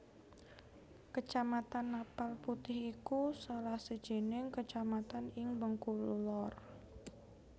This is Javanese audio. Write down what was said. Kecamatan Napal Putih iku salah sijining kecamatan ing Bengkulu Lor